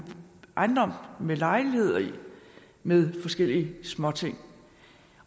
ejendom med lejligheder med forskellige småting